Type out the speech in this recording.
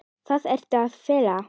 Hvað ertu að fela?